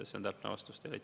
See on täpne vastus teile.